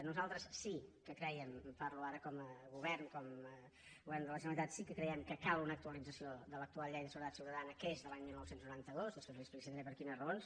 nosaltres sí que creiem parlo ara com a govern com a govern de la generalitat que cal una actualització de l’actual llei de seguretat ciutadana que és de l’any dinou noranta dos després li explicitaré per quines raons